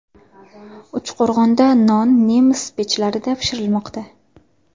Uchqo‘rg‘onda non nemis pechlarida pishirilmoqda.